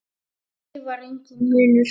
Á því var enginn munur.